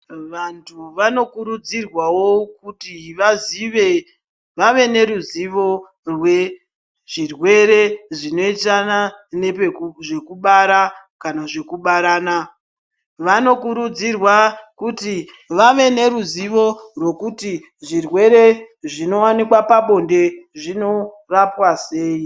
Vantu vanokurudzirwawo kuti vazive vave neruzivo rwezvirwere zvinoenderana nezvekubara kana kubarana. Vanokurudzirwa kuti vave neruzivo rwokuti zvirwere zvinowanikwa pabonde zvinorapwa sei.